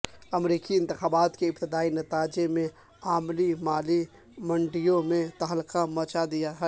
امریکی انتخابات کے ابتدائی نتائج نے عالمی مالی منڈیوں میں تہلکہ مچا دیا ہے